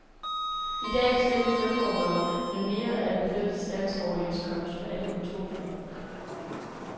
I dag bestemmes lønforhold med mere af den fælles landsoverenskomst for alle kontorfolk.